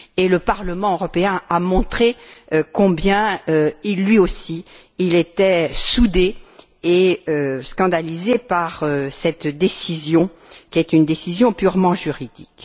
Le Parlement européen a montré combien, lui aussi, était soudé et scandalisé par cette décision, qui est une décision purement juridique.